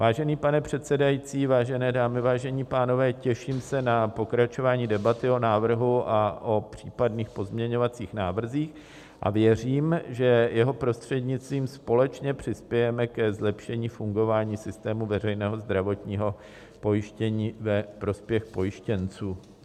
Vážený pane předsedající, vážené dámy, vážení pánové, těším se na pokračování debaty o návrhu a o případných pozměňovacích návrzích a věřím, že jeho prostřednictvím společně přispějeme ke zlepšení fungování systému veřejného zdravotního pojištění ve prospěch pojištěnců.